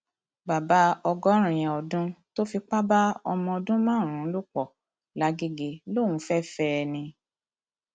bàbá ọgọrin ọdún tó fipá bá ọmọ ọdún márùnún lò pọ làgẹgẹ lòún fẹẹ fẹ ẹ ni